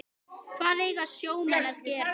Hvað eiga sjómenn að gera?